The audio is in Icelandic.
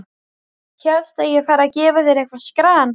Hélstu að ég færi að gefa þér eitthvert skran?